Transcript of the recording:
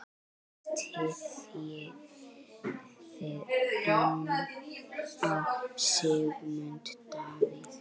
Styðjið þið ennþá Sigmund Davíð?